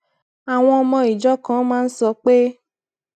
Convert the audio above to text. àwọn ọmọ ìjọ kan máa ń sọ pé